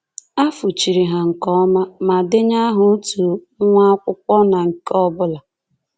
A fụchiri ha nke ọma ma denye aha otu nwa akwụkwọ na nke ọ bụla.